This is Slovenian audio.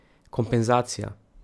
Kompenzacija.